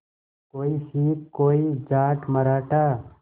कोई सिख कोई जाट मराठा